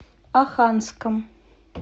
оханском